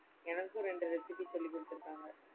எனக்கும் ரெண்டு recipe சொல்லி குடுத்துருக்காங்க.